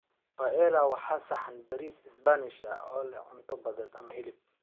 Paella waa saxan bariis Isbaanish ah oo leh cunto badeed ama hilib.